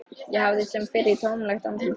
Ég horfði sem fyrr í tómlegt andlit hennar.